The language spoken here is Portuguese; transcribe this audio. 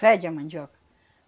Fede a mandioca.